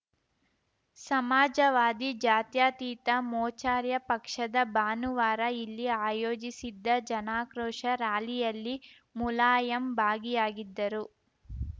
ಸಮಾಜವಾದಿ ಜಾತ್ಯತೀತ ಮೋಚಾರ್ಯ ಪಕ್ಷದ ಭಾನುವಾರ ಇಲ್ಲಿ ಆಯೋಜಿಸಿದ್ದ ಜನಾಕ್ರೋಶ ರಾಲಿಯಲ್ಲಿ ಮುಲಾಯಂ ಭಾಗಿಯಾಗಿದ್ದರು